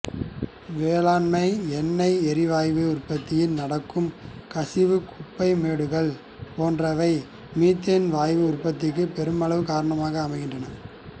வேளாண்மை எண்ணெய் எரிவாயு உற்பத்தியில் நடக்கும் கசிவு குப்பை மேடுகள் போன்றவை மீத்தேன் வாயு உற்பத்திக்கு பெருமளவுக்கு காரணமாக அமைகின்றன